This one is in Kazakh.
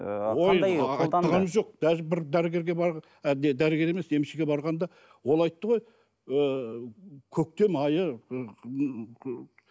ыыы даже бір дәрігерге ы не дәрігер емес емшіге барғанда ол айтты ғой ы көктем айы